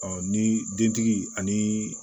ni dentigi ani